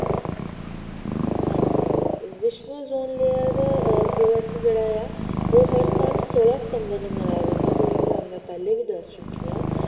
ਹਾਂਜੀ, ਵਿਸਵ ozone layer ਦਿਵਸ ਜਿਹੜਾ ਆ ਉਹ ਹਰ ਸਾਲ ਸੋਲਾਂ september ਨੂੰ ਮਨਾਇਆ ਜਾਂਦਾ ਆ, ਜਿਵੇ ਕਿ ਮਈ ਤੁਹਾਨੂੰ ਪਹਿਲੇ ਵੀ ਦਸ ਚੁਕੀ ਆ